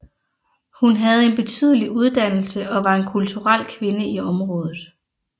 Hun havde en betydelig uddannelse og var en kulturel kvinde i området